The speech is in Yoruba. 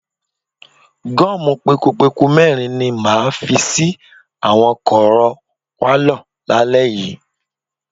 Gọ́ọ̀mù pekupeku mẹ́rin ni màá fi sí àwọn kọ̀rọ̀ pálọ̀ lálẹ́ yìí.